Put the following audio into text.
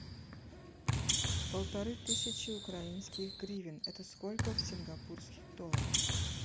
полторы тысячи украинских гривен это сколько в сингапурских долларах